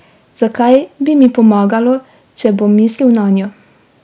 Zakaj bi mi pomagalo, če bom mislil nanjo?